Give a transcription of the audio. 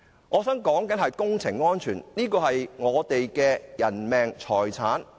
我說的是工程安全，關乎人命和財產。